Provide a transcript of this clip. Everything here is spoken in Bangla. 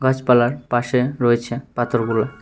গাছপালার পাশে রয়েছে পাথরগুলো।